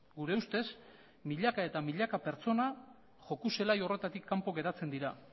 gure ustez milaka eta milaka pertsona joku zelai horretatik kanpo geratzen dira